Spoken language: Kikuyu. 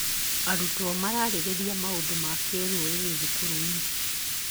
Arutwo mararĩrĩria maũndũ ma kĩrũrĩrĩ thukuru-inĩ.